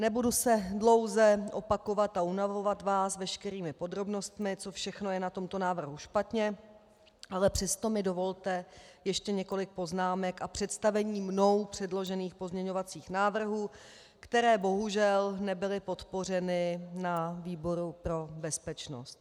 Nebudu se dlouze opakovat a unavovat vás veškerými podrobnostmi, co všechno je na tomto návrhu špatně, ale přesto mi dovolte ještě několik poznámek a představení mnou předložených pozměňovacích návrhů, které bohužel nebyly podpořeny na výboru pro bezpečnost.